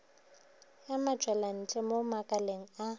ya matpwelantle mo makaleng a